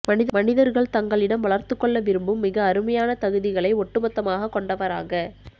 மனிதர்கள் தங்களிடம் வளர்த்துக் கொள்ள விரும்பும் மிக அருமையான தகுதிகளை ஒட்டுமொத்தமாகக் கொண்டவராக